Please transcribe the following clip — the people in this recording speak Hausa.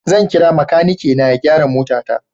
Zan kira makanikina ya gyara motata.